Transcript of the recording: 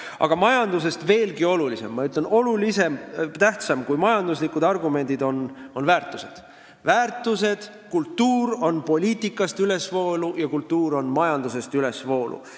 Aga ma ütlen, et majanduslikest argumentidest veel tähtsamad on väärtused: kultuur on poliitikast ülesvoolu ja kultuur on ka majandusest ülesvoolu.